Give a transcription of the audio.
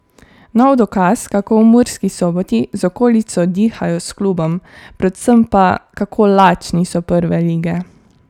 Nov dokaz, kako v Murski Soboti z okolico dihajo s klubom, predvsem pa, kako lačni so prve lige.